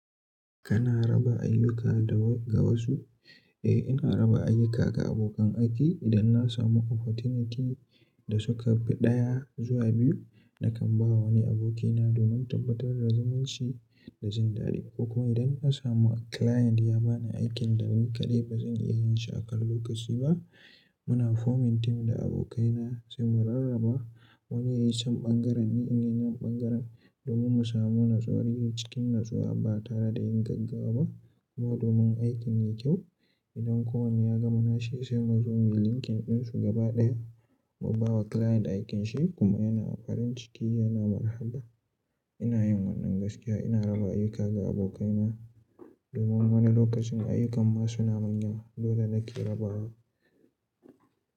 Kana raba ayyuka da ga wasu? Eh, ina raba ayyukana ga abokan aiki. Idan na samu opportunity da suka fi ɗaya zuwa biyu, nakan ba wani abokina domin tabbatar da zumunci da jin daɗi. Ko kuma idan na samu client ya ba ni aikin da ni kaɗai ba zan iya yin shi a kan lokaci ba, muna forming team da abokaina sai mu rarraba wanne ya yi son ɓangaren ne in yi wani ɓangaren domin mu samu natsuwa, yi cikin natsuwa ba tare da yin gaggawa ba. Kuma domin aikin ya yi kyau. Idan kowane ya gama nashi sai mu zo muyi linking ɗinsu gaba ɗaya mu ba wa client aikinshi kuma yana farin ciki yana marhabba. Ina yin wannan gaskiya. Ina raba ayyuka ga abokaina domin wani lokacin ayyukan ma su na amn yawa. Dole na ƙe rabawa.